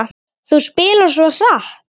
Þú spilar svo hratt.